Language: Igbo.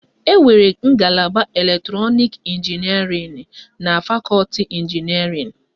Enwere ngalaba elektrọnik ịnginierịn na fakọti ịnginierịn